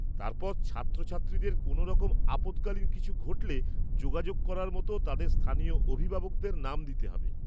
তারপর, ছাত্রছাত্রীদের কোনোরকম আপৎকালীন কিছু ঘটলে যোগাযোগ করার মতো তাদের স্থানীয় অভিভাবকের নাম দিতে হবে।